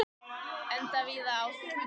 Enda víða áð.